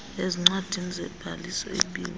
ezincwadini zobhaliso ibiwe